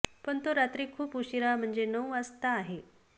पण तो रात्री खूप उशीरा म्हणजे नऊ वाजता आहे